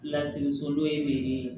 Lasigi so dɔ ye